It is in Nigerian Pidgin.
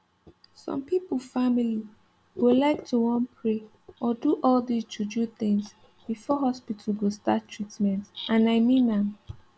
some pipo family go like to wan pray or do all dis juju things before hospital go start treatment and i mean am